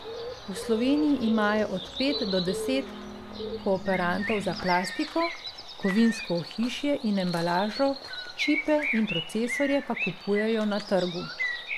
V Sloveniji imajo od pet do deset kooperantov za plastiko, kovinsko ohišje in embalažo, čipe in procesorje pa kupujejo na trgu.